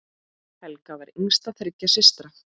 Helga var yngst þriggja systra.